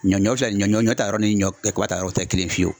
Ɲɔ ɲɔ filɛ nin ɲɔ ɲɔ ɲɔ taa yɔrɔ ni ɲɔ kaba taayɔrɔ o tɛ kelen ye fiyewu .